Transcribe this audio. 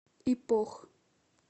ипох